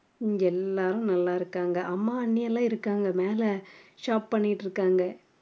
இங்க எல்லாரும் நல்லாருக்காங்க அம்மா அண்ணிலாம் இருக்காங்க மேல shop பண்ணிட்டுருக்காங்க